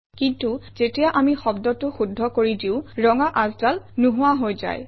কিন্তু যেতিয়া আমি শব্দটো শুদ্ধ কৰি দিওঁ ৰঙা আচডাল নোহোৱা হৈ যায়